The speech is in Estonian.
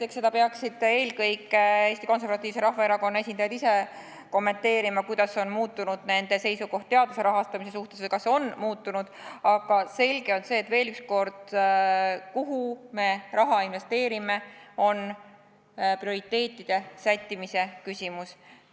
Eks seda peaksid eelkõige Eesti Konservatiivse Rahvaerakonna esindajad ise kommenteerima, kuidas on muutunud nende seisukoht teaduse rahastamise suhtes või kas see on muutunud, aga veel üks kord, selge on see, et kuhu me raha investeerime, on prioriteetide sättimise küsimus.